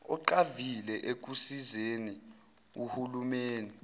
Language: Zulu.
oqavile ekusizeni ohulumeni